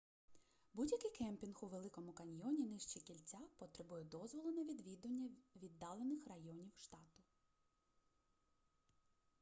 будь-який кемпінг у великому каньйоні нижче кільця потребує дозволу на відвідування віддалених районів штату